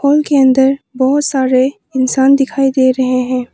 Hall के अंदर बहुत सारे इंसान दिखाई दे रहे हैं।